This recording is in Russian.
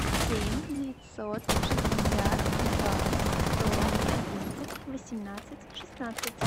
семь девятьсот шестьдесят два сто одиннадцать восемнадцать шестнадцать